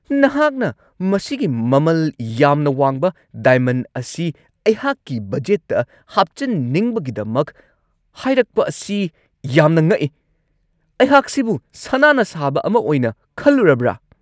ꯅꯍꯥꯛꯅ ꯃꯁꯤꯒꯤ ꯃꯃꯜ ꯌꯥꯝꯅ ꯋꯥꯡꯕ ꯗꯥꯏꯃꯟ ꯑꯁꯤ ꯑꯩꯍꯥꯛꯀꯤ ꯕꯖꯦꯠꯇ ꯍꯥꯞꯆꯤꯟꯅꯤꯡꯕꯒꯤꯗꯃꯛ ꯍꯥꯏꯔꯛꯄ ꯑꯁꯤ ꯌꯥꯝꯅ ꯉꯛꯏ ! ꯑꯩꯍꯥꯛꯁꯤꯕꯨ ꯁꯅꯥꯅ ꯁꯥꯕ ꯑꯃ ꯑꯣꯏꯅ ꯈꯜꯂꯨꯔꯕ꯭ꯔꯥ?